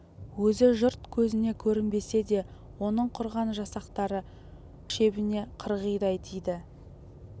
өзі жұрт көзіне көрінбесе де оның құрған жасақтары жау шебіне қырғидай тиді